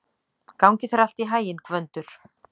Gangi þér allt í haginn, Gvöndur.